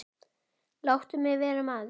Láttu mig vera maður.